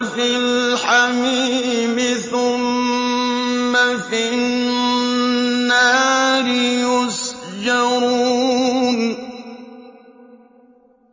فِي الْحَمِيمِ ثُمَّ فِي النَّارِ يُسْجَرُونَ